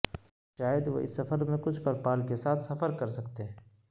شاید وہ اس سفر میں سے کچھ پر پال کے ساتھ سفر کر سکتے ہیں